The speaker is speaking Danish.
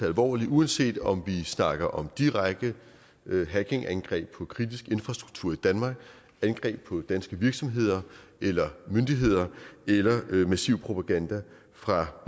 alvorligt uanset om vi snakker om direkte hackingangreb på kritisk infrastruktur i danmark angreb på danske virksomheder eller myndigheder eller massiv propaganda fra